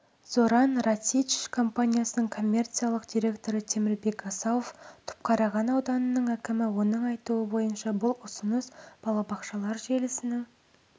зоран рацич компанияның коммерциялық директоры темірбек асауов түпқараған ауданының әкімі оның айтуынша бұл ұсыныс балабақшалар желісінің